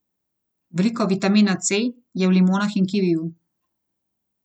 Veliko vitamina C je v limonah in kiviju.